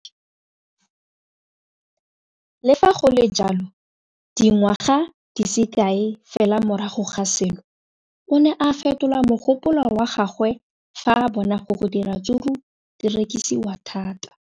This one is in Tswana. Le fa go le jalo, dingwaga di se kae fela morago ga seno, o ne a fetola mogopolo wa gagwe fa a bona gore diratsuru di rekisiwa thata.